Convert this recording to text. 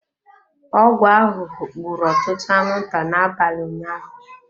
Ọgwụ ahụhụ gburu ọtụtụ anwụnta n'abalị ụnyaahụ.